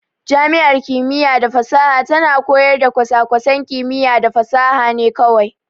Jami'ar kimiyya da fasaha tana koyar da kwasa-kwasan kimiyya da fasaha ne kawai.